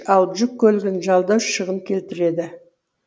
ал жүк көлігін жалдау шығын келтіреді